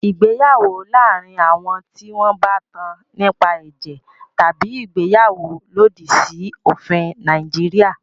Ìgbéyàwó láàárín àwọn tí wọn bá tán nípa ẹ̀jẹ̀ tabi ìgbéyàwó lòdì sí òfin Nàìjíríà.